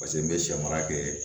Paseke n bɛ sɛmara kɛ